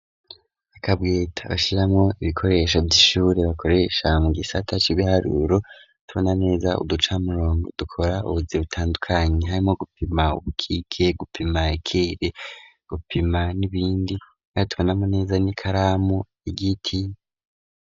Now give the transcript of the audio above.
Akabweta bashiramwo ibikoresho vy'ishuri bakoresha mu gisata cibiharuro ,tubona neza uducamurongo dukora ubuzi butandukanyi ,harimwo gupima ubukike, gupima ikere, gupima n'ibindi arik tubonamwo neza n'ikaramu y'igiti